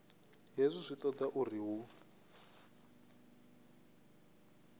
hezwi zwi toda uri hu